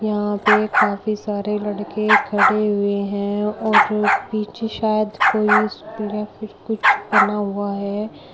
यहां पे काफी सारे लड़के खड़े हुए हैं और जो पीछे शायद कोई स्कूल या फिर कुछ बना हुआ है।